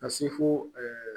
Ka se fo